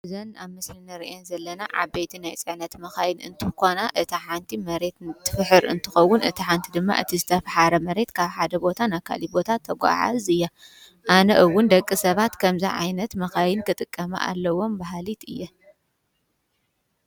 እዘን ኣብ ምስሊ ንሪአን ዘለና ዓበይቲ ናይ ፅዕነት መኻይን እንትኾና እታ ሓንቲ መሬት እንትፍሕር እንትኸውን እታ ሓንቲ ድማ እቲ ዝተፋሕረ መሬት ካብ ሓደ ቦታ ናብ ካሊእ ቦታ ተጓዓዕዝ እያ፡፡ ኣነ እውን ደቂ ሰባት ከምዚ ዓይነት መኻይን ክጥቀማ ኣለዎም በሃሊት እየ፡፡